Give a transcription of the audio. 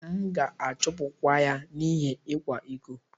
M'gāchupu kwa ya n'ihi ikwa-iko